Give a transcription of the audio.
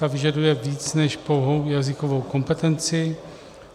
Ta vyžaduje víc než pouhou jazykovou kompetenci.